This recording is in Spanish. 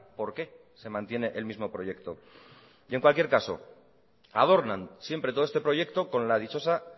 por qué se mantiene el mismo proyecto en cualquier caso adornan siempre todo este proyecto con la dichosa